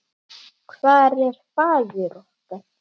Hvar er faðir okkar?